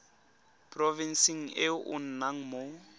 porofenseng e o nnang mo